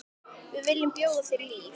Við viljum bjóða þér líf.